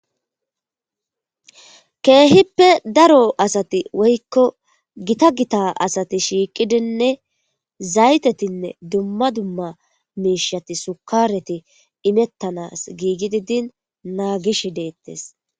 keehippe daro asati woykko gita gita asati shiiqidinne zaytetinne dumma dumma miishati sukareti imettanas giigi didin naagish deettes